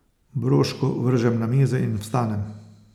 Broško vržem na mizo in vstanem.